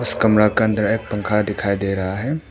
इस कमरा के अंदर एक पंखा दिखाई दे रहा है।